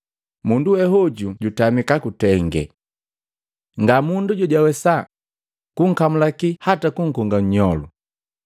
Mundu we oju jutamika kutenge. Nga mundu jojawesa kunkamulaki hata kunkonga nnyolu,